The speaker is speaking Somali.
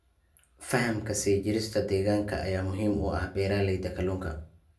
Fahamka sii jirista deegaanka ayaa muhiim u ah beeralayda kalluunka.